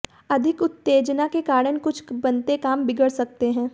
अधिक उत्तेजना के कारण कुछ बनते काम बिगड़ सकते हैं